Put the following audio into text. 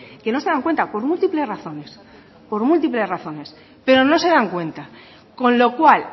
que no se dan cuenta por múltiples razones por múltiples razones pero no se dan cuenta con lo cual